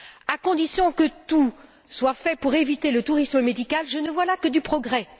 À condition que tout soit fait pour éviter le tourisme médical, je ne vois là que du progrès.